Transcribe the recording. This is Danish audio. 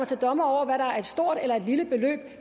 til dommer over hvad der er et stort eller lille beløb